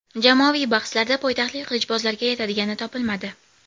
Jamoaviy bahslarda poytaxtlik qilichbozlarga yetadigani topilmadi.